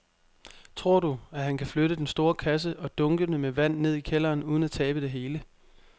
Tror du, at han kan flytte den store kasse og dunkene med vand ned i kælderen uden at tabe det hele?